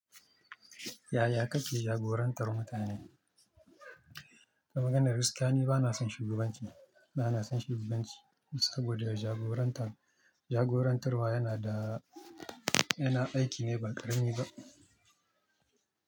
Yaya ka ke jagorantar mutane? Da maganar gaskiya ni ba na son shugabanci, ba na son shugabanci saboda jagorantar, jagorantarwa yana da, yana aiki ne ba ƙarami ba.